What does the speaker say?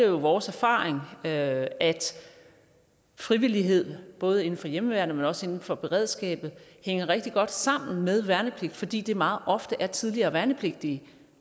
jo vores erfaring at at frivillighed både inden for hjemmeværnet men også inden for beredskabet hænger rigtig godt sammen med værnepligt fordi det meget ofte er tidligere værnepligtige